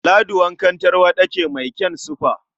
Ladi wankan tarwaɗa ce mai kyan sifa.